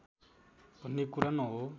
भन्ने कुरा न हो